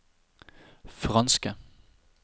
franske